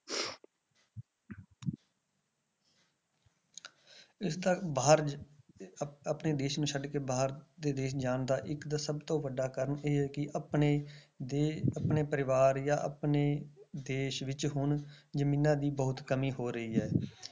ਇਸਦਾ ਬਾਹਰ ਆ~ ਆਪਣੇ ਦੇਸ ਨੂੰ ਛੱਡ ਕੇ ਬਾਹਰ ਦੇ ਦੇਸ ਨੂੰ ਜਾਣ ਦਾ ਇੱਕ ਤਾਂ ਸਭ ਤੋਂ ਵੱਡਾ ਕਾਰਨ ਇਹ ਹੈ ਕਿ ਆਪਣੇ ਦੇ~ ਆਪਣੇ ਪਰਿਵਾਰ ਜਾਂ ਆਪਣੇ ਦੇਸ ਵਿੱਚ ਹੁਣ ਜ਼ਮੀਨਾਂ ਦੀ ਬਹੁਤ ਕਮੀ ਹੋ ਰਹੀ ਹੈ